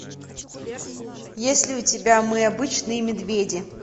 есть ли у тебя мы обычные медведи